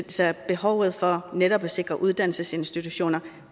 behovet for netop at sikre uddannelsesinstitutioner